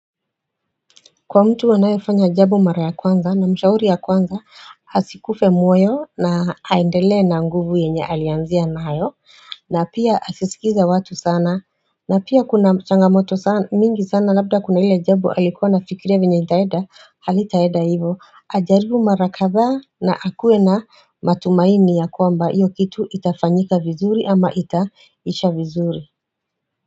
Kwa mtu wanaefanya jabo mara ya kwanza na mshauri ya kwanza hasikufe moyo na aendele na nguvu yenye alianzia nayo na pia asiskize watu sana na pia kuna changamoto mingi sana labda kuna ile jabo alikuwa na fikiria vinye itaeda halitaeda hivo Ajaribu mara katha na akuwe na matumaini ya kwamba iyo kitu itafanyika vizuri ama itaisha vizuri.